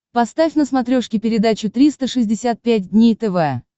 поставь на смотрешке передачу триста шестьдесят пять дней тв